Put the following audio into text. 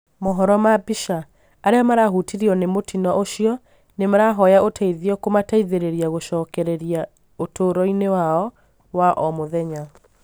mohoro ma mbica, arĩa marahutirio nĩ mũtino ũcio nĩmarahoya ũteithio kumateithĩrĩria gũcokereria ũtũroinĩ wao wa omũthenya